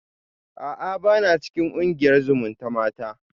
A'a bana cikin kungiyar zumutamata